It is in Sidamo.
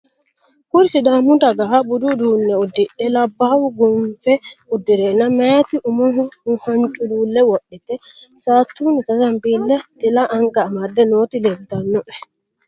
Kuri sidaammu daggaha budu uddune uddidhe labbahu gonniffa uddirena meyyatti ummoho haniculule wodhitte saatunitta zamibilena xilla anigga amedde nooti leelitanoe